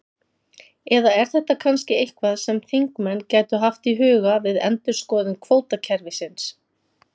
Eða er þetta kannski eitthvað sem þingmenn gætu haft í huga við endurskoðun kvótakerfisins?